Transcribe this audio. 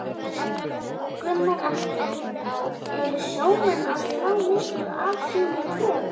Gunnar Atli: Eru sjómenn að slá mikið af sínum kröfum?